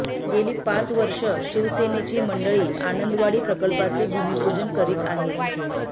गेली पाच वर्षे शिवसेनेची मंडळी आनंदवाडी प्रकल्पाचे भूमिपूजन करीत आहेत